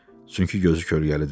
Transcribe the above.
Çünki gözü kölgəlidir.